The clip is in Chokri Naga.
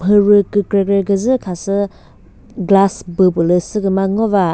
mhürü kükre kre küzü khasü glass büh pülü khasü kümüzü ngo va.